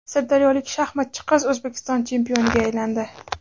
Sirdaryolik shaxmatchi qiz O‘zbekiston chempioniga aylandi.